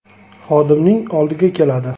xodimning oldiga keladi.